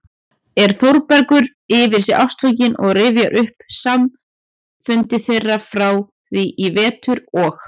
er Þórbergur yfir sig ástfanginn og rifjar upp samfundi þeirra frá því í vetur og